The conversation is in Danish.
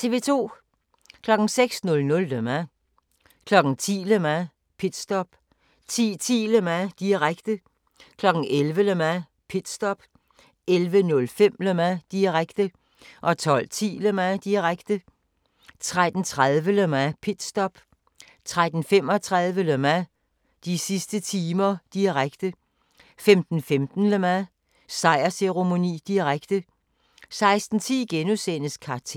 06:00: Le Mans 10:00: Le Mans - pitstop 10:10: Le Mans, direkte 11:00: Le Mans - pitstop 11:05: Le Mans, direkte 12:10: Le Mans, direkte 13:30: Le Mans - pitstop 13:35: Le Mans - de sidste timer, direkte 15:15: Le Mans - sejrsceremoni, direkte 16:10: Kartellet *